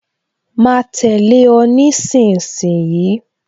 Ma tẹ̀lé o nísinsìnyí